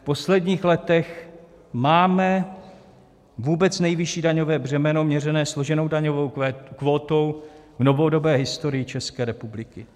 V posledních letech máme vůbec nejvyšší daňové břemeno měřené složenou daňovou kvótou v novodobé historii České republiky.